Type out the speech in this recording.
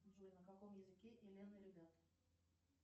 джой на каком языке элен и ребята